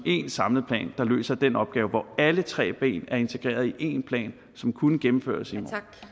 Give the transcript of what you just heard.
én samlet plan der løser den opgave og hvor alle tre ben er integreret i én plan som kunne gennemføres i